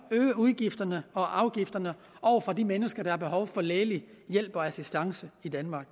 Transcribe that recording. øge udgifterne og afgifterne for de mennesker der har behov for lægelig hjælp og assistance i danmark